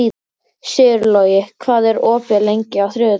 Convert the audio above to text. Sigurlogi, hvað er opið lengi á þriðjudaginn?